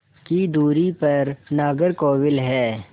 की दूरी पर नागरकोविल है